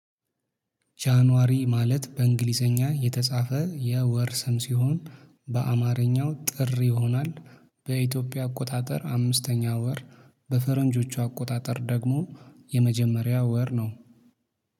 ጃንዋሪ ማለት በእንግሊዘኛ የተጻፈ የወር ስም ሲሆን በአማርኛው ጥር ይሆናል። በኢትዮጵያ አቆጣጠር አምስተኛ ወር በፈረንጆቹ አቆጣጠር ደግሞ የመጀመሪያው ወር ነው